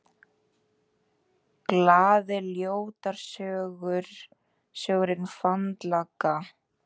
GLAÐI GULRÓTARSÖNGURINNFANDALAGGAHOJ